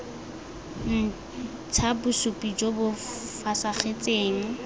ntsha bosupi jo bo fosagetseng